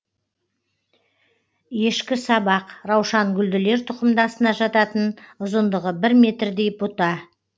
ешкісабақ раушангүлділер тұқымдасына жататын ұзындығы бір метрдей бұта